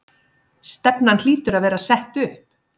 Stefnan hlýtur að vera sett upp?